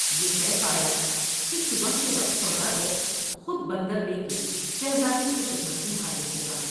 یہ طے پایا کہ صبح کے وقت سودا گر خود بندر لے کر شہزادے کی خدمت میں حاضر ہوگا ۔